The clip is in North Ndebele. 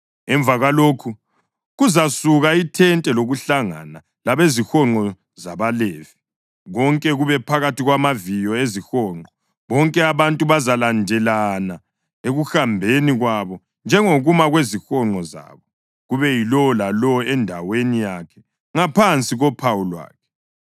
Emva kwalokho kuzasuka ithente lokuhlangana labezihonqo zabaLevi konke kube phakathi kwamaviyo ezihonqo. Bonke abantu bazalandelana ekuhambeni kwabo njengokuma kwezihonqo zabo kube yilowo lalowo endaweni yakhe ngaphansi kophawu lwakhe.